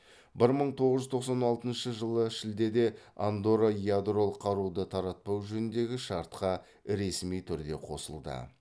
бір мың тоғыз жүз тоқсан алтыншы жылы шілдеде андорра ядролық қаруды таратпау жөніндегі шартқа ресми түрде қосылды